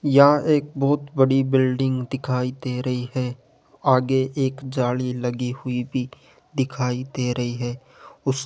यहां एक बहुत बड़ी बिल्डिंग दिखाई दे रही है आगे एक जाली लगी हुई भी दिखाई दे रही है उस --